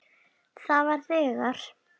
Það var þegar